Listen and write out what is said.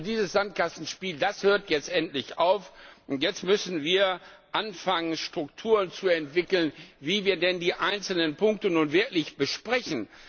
Also, dieses Sandkastenspiel, das hört jetzt endlich auf, jetzt müssen wir anfangen, Strukturen zu entwickeln, wie wir denn die einzelnen Punkte nun wirklich besprechen.